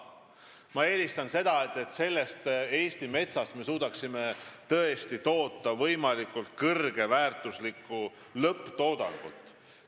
Ma eelistan seda, et me tõesti suudaksime Eesti metsast toota võimalikult kõrge väärtusega lõpptoodangut.